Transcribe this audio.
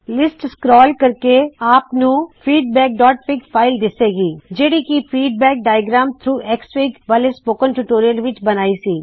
list scroll ਕਰਕੇ ਆਪ ਨੂੰ feedbackਫਿਗ ਫ਼ਾਇਲ ਦਿੱਸੇ ਗੀ ਜਿਹੜੀ ਕੀ ਫੀਡਬੈਕ ਡਾਇਆਗ੍ਰਾਮਸ ਥਰੌਗ ਐਕਸਐਫਆਈਜੀ ਵਾਲ਼ੇ ਸਪੋਕਨ ਟਯੂਟੋਰਿਯਲ ਵਿੱਚ ਬਣਾਈ ਸੀ